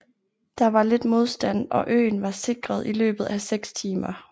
Der var lidt modstand og øen var sikret i løbet af seks timer